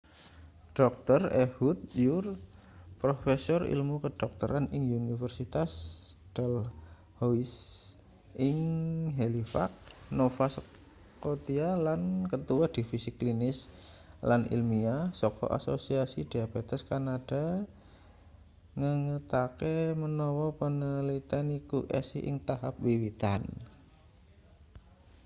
dr ehud ur profesor ilmu kedokteran ing universitas dalhousie ing halifax nova scotia lan ketua divisi klinis lan ilmiah saka asosiasi diabetes kanada ngengetake menawa panaliten iku isih ing tahap wiwitan